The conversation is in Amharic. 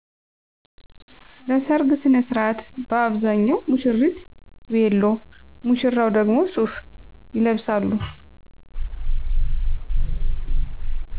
ለሰርግ ሥነሥርዓት በአብዛኛው ሙሽሪት ቬሎ ሙሽራው ደግሞ ሱፍ ይለብሳሉ